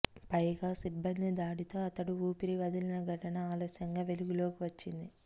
పైగా సిబ్బంది దాడితో అతడు ఊపిరి వదిలిన ఘటన ఆలస్యంగా వెలుగులోకి వచ్చింది